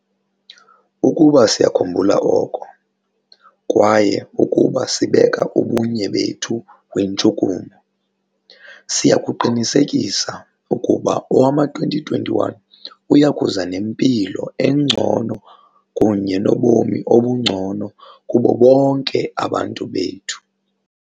Ukuba siya kukhumbula oko, kwaye ukuba sibeka ubunye bethu kwintshukumo, siya kuqinisekisa ukuba owama-2021 uya kuza nempilo engcono kunye nobomi obungcono kubo bonke abantu bethu.